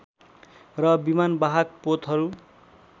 र विमानवाहक पोतहरू